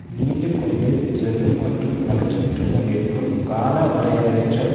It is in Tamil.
நீண்டு கொண்டு செல்லும் மற்றும் வளர்ச்சியுற்றுக் கொண்டிருக்கும் காலவரையற்ற